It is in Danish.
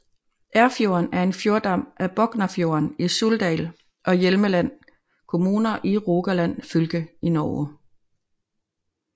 Erfjorden er en fjordarm af Boknafjorden i Suldal og Hjelmeland kommuner i Rogaland fylke i Norge